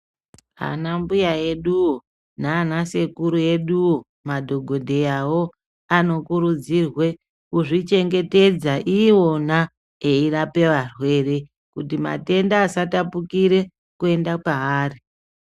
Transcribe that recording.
Anambuya eduwo, nana sekuru eduwo ,madhokodheyawo ,anokurudzirwe kuzvichengetedza iwona eirape varwere, kuti matenda asatapukire kuenda paari.